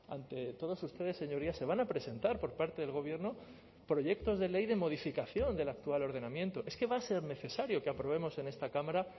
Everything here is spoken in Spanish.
ante todos ustedes señorías se van a presentar por parte del gobierno proyectos de ley de modificación del actual ordenamiento es que va a ser necesario que aprobemos en esta cámara